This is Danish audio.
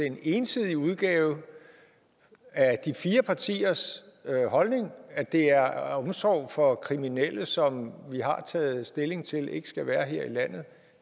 en ensidig udgave af de fire partiers holdning at det er omsorg for kriminelle som vi har taget stilling til ikke skal være her i landet